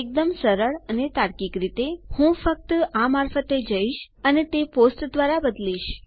એકદમ સરળ અને તાર્કિક રીતે હું ફક્ત આ મારફતે જઈશ અને તે પોસ્ટ દ્વારા બદલીશ